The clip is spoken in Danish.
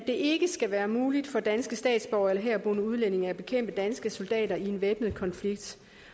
ikke skal være muligt for danske statsborgere eller herboende udlændinge at bekæmpe danske soldater i en væbnet konflikt